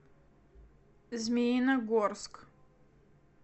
змеиногорск